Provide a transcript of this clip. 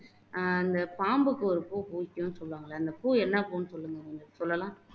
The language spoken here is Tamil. அஹ் அந்த பாம்புக்கு ஒரு பூ பிடிக்கும்ன்னு சொல்வாங்க அந்த பூ என்ன பூன்னு சொல்லுங்க சொல்லலாம்